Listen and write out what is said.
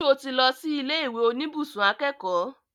Ṣo tí lọ sí ilé ìwé oníbùsùn akẹ́kọ̀ọ́?